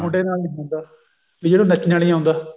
ਮੁੰਡੇ ਨਾਲ ਨੀ ਹੁੰਦਾ ਵੀ ਜਿਹਨੂੰ ਨੱਚਣਾ ਨਹੀ ਆਉਂਦਾ